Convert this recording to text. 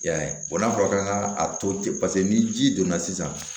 I y'a ye n'a fɔra k'an ka a to ten paseke ni ji donna sisan